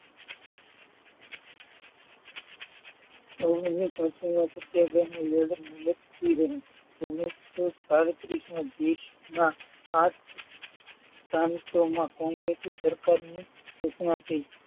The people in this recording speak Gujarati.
ઓગણીસો છત્રીસમાં સત્યાગ્રહની લડત મુલતવી રહી ઓગણીસો સદત્રીસ માં દેશના આઠ પ્રાંતોમાં કોંગ્રેસી સરકારની સૂચનાથી,